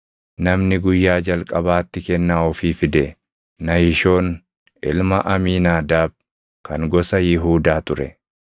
Namni guyyaa jalqabaatti kennaa ofii fide Nahishoon ilma Amiinaadaab kan gosa Yihuudaa ture.